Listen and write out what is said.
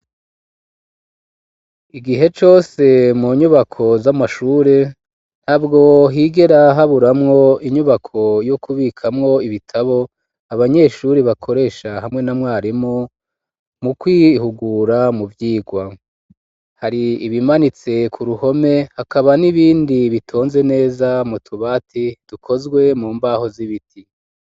Igihe cose mu nyubako z'amashure ntabwo higera haburamwo inyubako yo kubikamwo ibitabo abanyeshuri bakoresha hamwe na mwarimu mu kwihugura mu vyirwa, hari ibimanitse ku ruhome hakaba n'ibindi bitonze neza mu tubati dukozwe mu mbaho z'ibiti.